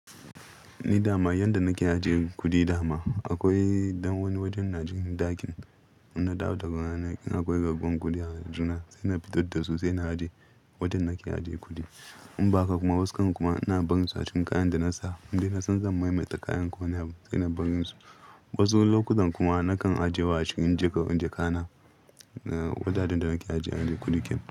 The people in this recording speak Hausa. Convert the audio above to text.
Ni dama yanda nake ajiye kudi dama akwai dan wani wajen na jin ɗakin. Ina dawo daga rana in akwai gaggon kuɗi a juna sai na fito da su sai na aje wajen nake ajiye kuɗi. In ba haka kuma waskan kuma ina barinsu a cikin kayan da nasa. Indai na san zan maimaita kayan ko wane lokaci ina barin su. Wasu lokutan kuma nakan ajiye wasu inji kan inji kana wajajen da nake ajiye kuɗi ken.